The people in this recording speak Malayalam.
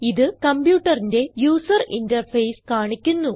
ഇത് കംപ്യൂട്ടറിന്റെ യൂസർ ഇന്റർഫേസ് കാണിക്കുന്നു